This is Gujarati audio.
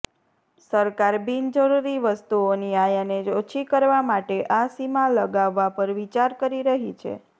સરકાર બિનજરૂરી વસ્તુઓની આયાને ઓછી કરવા માટે આ સીમા લગાવવા પર વિચાર કરી રહી છે